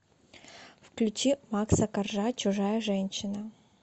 включи макса коржа чужая женщина